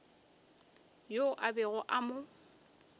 yo a bego a mo